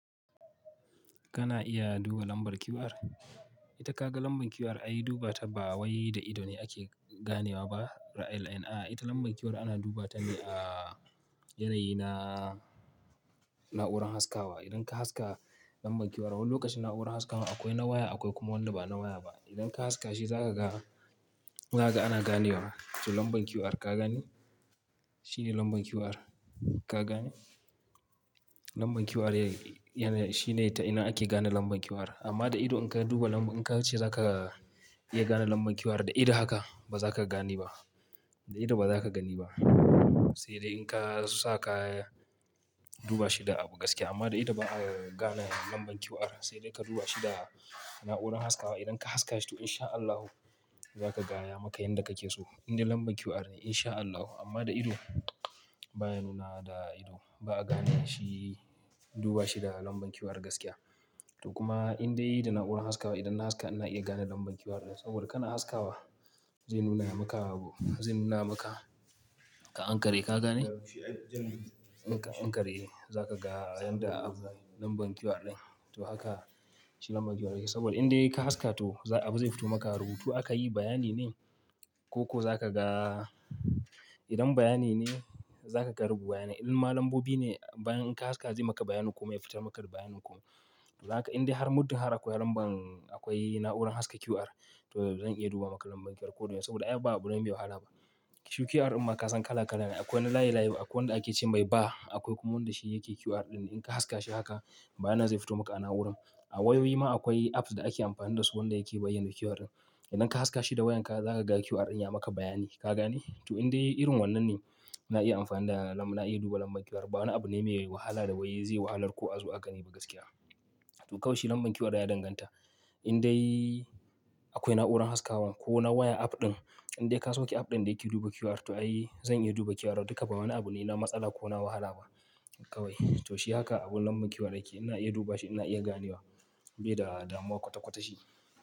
Kana iya duba lambar QR. Ita ka ga lambar QR ai duba ta ba wai da ido ne ake ganewa ba, ra LN. A'a Ita lambar QR ana duba ta ne a yanayi na na'urar haskawa. Idan ka haska lambar QR, wani lokacin na'urar haskawa akwai na waya akwai kuma wanda ba na waya ba. Idan ka haska shi zaka ga, haka ana ganewa. To lambar QR ka gane? Shi ne lambar QR ka gane? Lambar QR ya-ya- shine ta ina ake gane lambar QR. Amma da ido in ka duba lambar, in ka ce za ka iya gane lambar QR da ido haka, ba za ka gane ba. Da ido ba za ka gani ba. Sai dai in ka su sa ka duba shi da gaskiya. Amma da ido ba a gane lambar QR. Sai dai ka duba shi da na'urar haskawa. Idan ka haska shi to insha Allahu za ka gaya maka yanda ka ke so. Indai lambar QR ne insha Allahu. Amma da ido ba ya nuna da ido. Ba a gane shi duba shi da lambar QR gaskiya. To kuma indai da na'urar haskawa idan na haska ina iya gane lambar QR din. Saboda kana haskawa zai nuna maka abu, zai nuna maka ka anƙare ka gane? In ka anƙare za ka ga yanda abu lambar QR din. To haka shi lambar QR yake. Saboda indai ka haska to abu zai fito maka rubutu aka yi bayanine ko-ko za ka ga idan bayanin ne za ka ga rubu bayanin. Idan ma lambobi ne bayan in ka haska zai maka bayanin ko me ya fita maka rubu bayanin ko. Zaka indai har muddin har akwai lambar akwai na'urar haska QR to zan iya duba maka lambar QR koda. Saboda ai ba abu ne mai wahala ba. Shi QR imma ka san kala-kala ne. Akwai na layin-layin akwai wanda ake ce mai ba. Akwai kuma wanda shi yake QR ɗin. In ka haska shi haka bayanin zai fito maka a na'uran. A wayoyi ma akwai apps da ake amfani da su wanda yake bayyana QR ɗin. Idan ka haska shi da wayan ka za ka ga QR ɗin ya maka bayani ka gane? To indai irin wannan ne na iya amfani da lambar, na iya duba lambar QR. Ba wani abu ne mai wahala da wai zai wahalar ku azo a gani ba gaskiya. To kawai shi lambar QR ya danganta indai akwai na'urar haskawa ko na waya app ɗin. Indai ka sauke app ɗin da yake duba QR to ai zan iya duba QR. Duka ba wani abu ne na matsala ko na wahala ba kawai. To shi haka abun lambar QR yake. Ina iya duba shi ina iya ganewa bai da damuwa kwata-kwata shi.